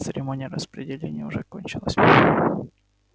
церемония распределения уже кончилась